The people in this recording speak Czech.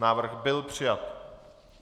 Návrh byl přijat.